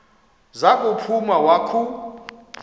za kuphuma wakhu